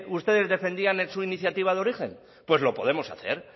ustedes defendían en su iniciativa de origen pues lo podemos hacer